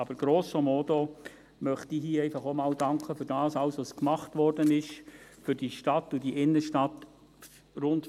Aber grosso modo möchte ich hier einfach auch mal danken für alles, was für diese Stadt und diese Innenstadt gemacht worden ist.